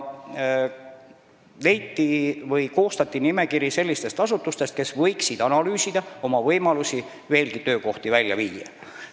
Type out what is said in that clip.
Seega koostati nimekiri sellistest asutustest, kes võiksid analüüsida oma võimalusi pealinnast veel töökohti välja viia.